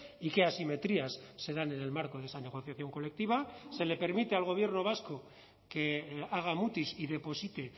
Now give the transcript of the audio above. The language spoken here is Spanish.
y que asimetrías se dan en el marco de esa negociación colectiva se le permite al gobierno vasco que haga mutis y deposite